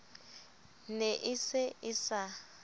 ne e se e sa